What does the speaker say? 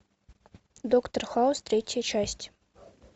доктор хаус третья часть